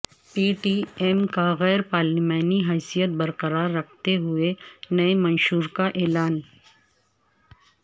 پی T M کا غیر پارلیمانی حیثیت برقرار رکھتے ہوئے نئے منشور کا اعلان